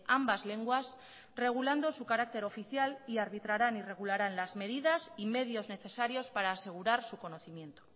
ambas lenguas regulando su carácter oficial y arbitrarán y regularán las medidas y medios necesarios para asegurar su conocimiento